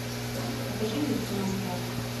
покажи мне цена страха